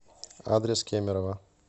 адрес кемерово